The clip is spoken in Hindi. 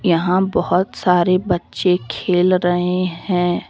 यहां बहुत सारे बच्चे खेल रहे हैं।